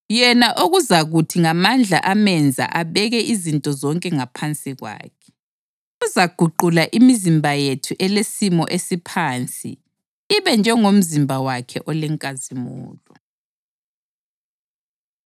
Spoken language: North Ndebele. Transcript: yena okuzakuthi ngamandla amenza abeke izinto zonke ngaphansi kwakhe, uzaguqula imizimba yethu elesimo esiphansi ibe njengomzimba wakhe olenkazimulo.